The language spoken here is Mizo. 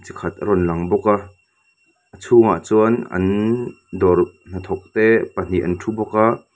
chi khat a rawn lang bawk a chhungah chuan an dawr hnathawkte pahnih an thu bawk a.